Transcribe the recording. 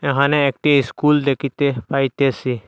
এহানে একটি স্কুল দেখিতে পাইতেসি।